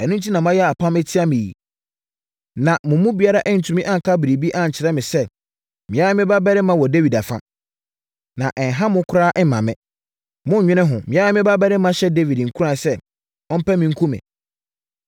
Ɛno enti na moayɛ apam atia me yi? Na mo mu biara antumi anka biribi ankyerɛ me sɛ me ara me babarima wɔ Dawid afa. Na ɛnha mo koraa mma me. Monnwene ho! Me ara me babarima hyɛ Dawid nkuran sɛ ɔmpɛ me nku me!”